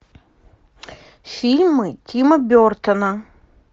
фильмы тима бертона